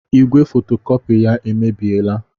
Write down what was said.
Igwe fotokopị ya emebiela.